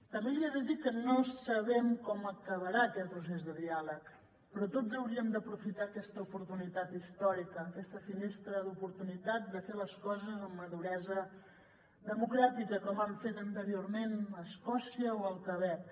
també li he de dir que no sabem com acabarà aquest procés de diàleg però tots hauríem d’aprofitar aquesta oportunitat històrica aquesta finestra d’oportunitat de fer les coses amb maduresa democràtica com han fet anteriorment escòcia o el quebec